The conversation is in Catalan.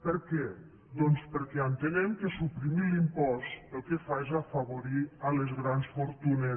per què doncs perquè entenem que suprimir l’impost el que fa és afavorir les grans fortunes